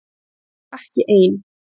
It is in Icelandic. Ég var ekki ein.